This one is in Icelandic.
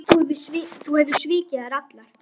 Þú hefur svikið þær allar.